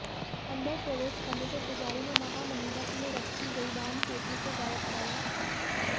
अंदर प्रवेश करने पर पुजारी ने महामंडप में रखी गई दान पेटी को गायब पाया